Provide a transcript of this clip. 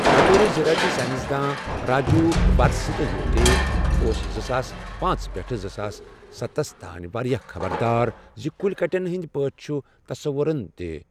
بطورِ زرٲعتی ساینس دان، راجیٖو وارسِنے یوتٕے اوس زٕ ساس پانٛژ پٮ۪ٹھٕ زٕ ساس ستس تانۍ واریاہ خبر دار، زِ کُلۍ کَٹٮ۪ن ہِنٛدۍ پٲٹھۍ چُھ تصَورن تہِ ۔